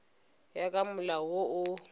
ya ka molao wo o